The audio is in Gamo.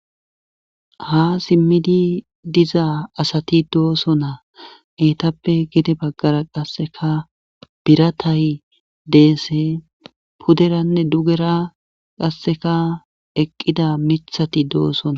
Ha simmidi dizaa asati dooso na eetappe gide baggara qasseka biratay deese puderanne dugera qasseka eqqida mithati doosona